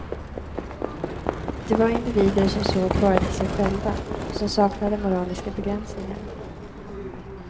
Det var individer som såg bara till sig själva, som saknade moraliska begränsningar.